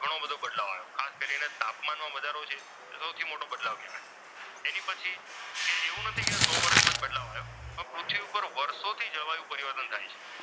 એમાં ઘણો બધો બદલાયો ખાસ કરીને તાપમાનમાં વધારો છે તે સૌથી મોટો બદલાવ કહેવાય એની પછી એવું નથી કે સો વર્ષમાં જ બદલાવ આવ્યો પણ પૃથ્વી પર વર્ષોથી જળવાયું પરિવર્તન બદલાય છે.